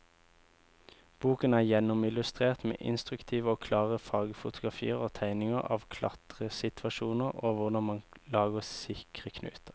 Boken er gjennomillustrert med instruktive og klare fargefotografier og tegninger av klatresituasjoner og hvordan man lager sikre knuter.